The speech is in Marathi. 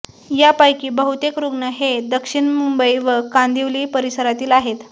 यापैकी बहुतेक रुग्ण हे दक्षिण मुंबई व कांदिवली परिसरातील आहेत